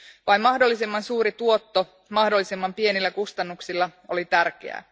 Vain mahdollisimman suuri tuotto mahdollisimman pienillä kustannuksilla oli tärkeää.